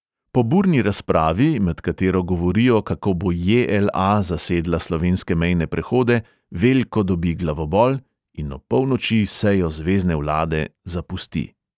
Po burni razpravi, med katero govorijo, kako bo je|el|a zasedla slovenske mejne prehode, veljko dobi glavobol in ob polnoči sejo zvezne vlade zapusti.